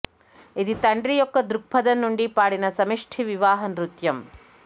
ఇది తండ్రి యొక్క దృక్పథం నుండి పాడిన సమిష్టి వివాహ నృత్యం